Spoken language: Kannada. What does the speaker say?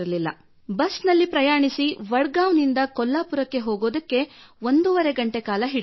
ಬಸ್ ನಲ್ಲಿ ಪ್ರಯಾಣಿಸಿ ವಡ್ ಗಾಂವ್ ನಿಂದ ಕೊಲ್ಲಾಪುರಕ್ಕೆ ಹೋಗುವುದಕ್ಕೆ ಒಂದೂವರೆ ಗಂಟೆಕಾಲ ಹಿಡಿಯುತ್ತಿತ್ತು